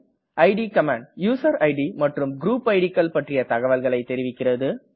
it command user id மற்றும் group id கள் பற்றிய தகவல்களை தெரிவிக்கிறது